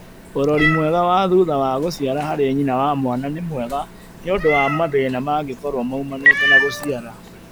Ũrori mwega wa thutha wa gũciara harĩ nyina na mwana nĩ mwega nĩũndũ wa mathĩna mangĩkorũo maũmanĩte na gũciara